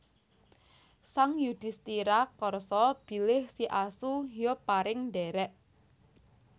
Sang Yudhistira karsa bilih si asu ya pareng ndhèrèk